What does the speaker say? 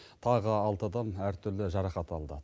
тағы алты адам әртүрлі жарақат алды